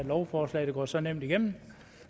lovforslag der går så nemt igennem